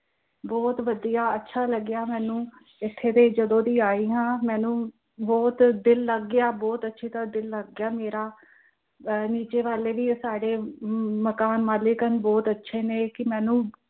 ਬਹੁਤ ਵਧੀਆ ਅੱਛਾ ਲੱਗਾ ਮੈਂਨੂੰ, ਏਥੇ ਦੀ ਜਦੇ ਦੀ ਆਈ ਹਾਂ ਮੈਂਨੂੰ ਬਹੁਤ ਦਿਲ ਲੱਗ ਗਿਆ ਬਹੁਤ ਅੱਛੀ ਤਰ੍ਹਾਂ ਦਿਲ ਲੱਗ ਗਿਆ ਮੇਰਾ, ਨੀਚੇ ਵਾਲੇ ਵੀ ਆ ਸਾਡੇ ਅਮ ਮਕਾਨ ਮਾਲਕ ਹਨ ਬਹੁਤ ਅੱਛੇ ਨੇ ਕਿ ਮੈਂਨੂੰ